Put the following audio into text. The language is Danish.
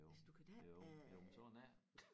Jo jo jo men sådan er det